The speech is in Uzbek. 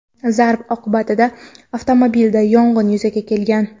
Zarb oqibatida avtomobilda yong‘in yuzaga kelgan.